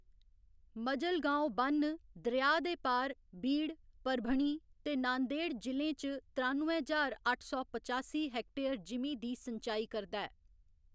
मजलगांव ब'न्न, दरेआ दे पार, बीड, परभणी ते नांदेड़ जि'लें च त्रानुए ज्हार अट्ठ सौ पचासी हैक्टर जिमीं दी संचाई करदा ऐ।